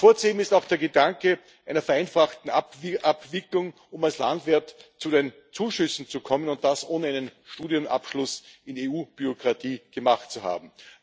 Hervorzuheben ist auch der Gedanke einer vereinfachten Abwicklung, um als Landwirt zu den Zuschüssen zu kommen, und das, ohne einen Studienabschluss in EU Bürokratie gemacht zu haben.